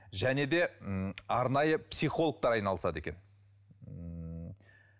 және де ммм арнайы психологтар айналысады екен ммм